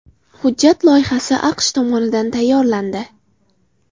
Hujjat loyihasi AQSh tomonidan tayyorlandi.